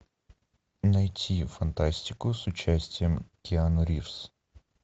найти фантастику с участием киану ривз